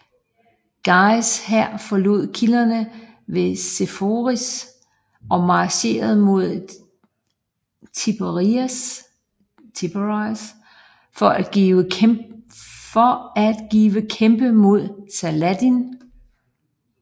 Guys hær forlod kilderne ved Seforis og marcherede mod Tiberias for at give kæmpe mod Saladin